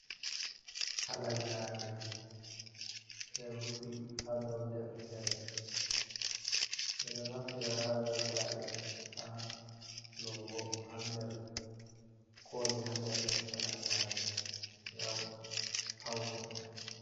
Halagare ɗo rufi ha dau deftere, ɓe ɗo naftira halagare ha logo ha nder koli ha nder halagare ngam paune.